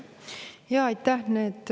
Jaa, aitäh!